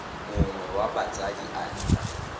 mongwe wa batsadi a nna